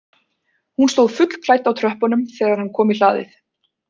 Hún stóð fullklædd á tröppunum þegar hann kom í hlaðið